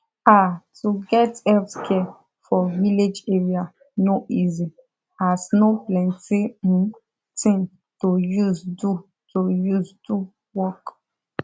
ah to get healthcare for village area no easy as no plenti hmm thing to use do to use do work